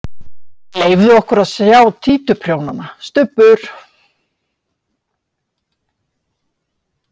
Leyfðu okkur að sjá títuprjónana, Stubbur!